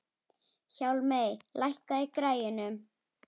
Hjálmey, lækkaðu í græjunum.